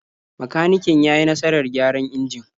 Makaniken ya yi nasarar gyara injin.